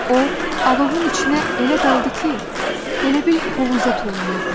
O alovun içinə elə daldı ki, elə bil hovuza tullanırdı.